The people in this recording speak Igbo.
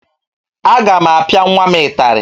Aga m apịa nwa m ịtarị